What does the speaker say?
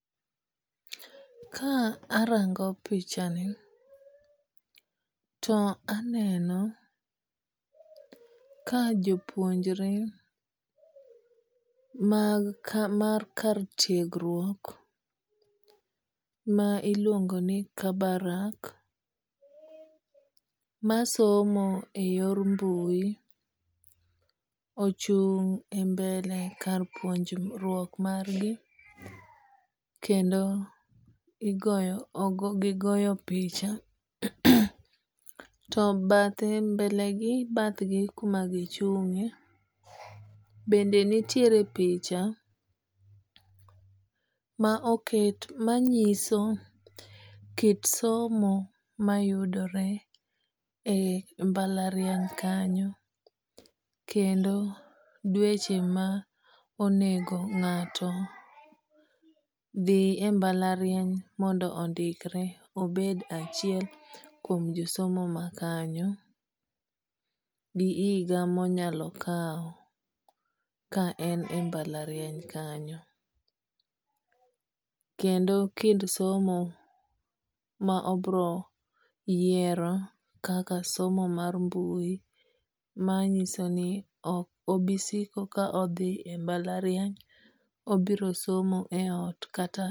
Ka arango pichani to aneno ka jopuonjre mag mar kar tiegruok ma iluongo ni Kabarak masomo e yor mbui ochung' e mbele kar puonjruok mar gi kendo gigoyo picha. To bathe e mbele gi bathgi kuma gichung'e bende nitiere picha ma oket ma nyiso kit somo mayudore mbalariany kanyo kendo dweche ma onego ng'ato dhi e mbalariany mondo ondikre obed achiel kuom josomo ma kanya gi higa monyalo kaw ka en e mbalariany kanyo. Kendo kind somo ma obiro yiero kaka somo mar mbui ma nyiso ni ok abisiko ka odhi e mbalariany. Obiro somo e ot kata